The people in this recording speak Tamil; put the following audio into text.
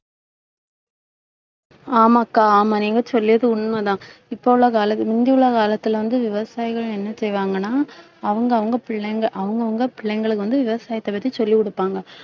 ஆமா அக்கா ஆமா நீங்க சொல்லியது உண்மைதான். இப்ப உள்ள கால~ முந்தியுள்ள காலத்தில வந்து, விவசாயிகள் என்ன செய்வாங்கன்னா அவங்க, அவங்க பிள்ளைங்க அவங்கவங்க பிள்ளைங்களுக்கு வந்து விவசாயத்தைப் பத்தி சொல்லிக் கொடுப்பாங்க